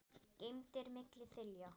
geymdir milli þilja.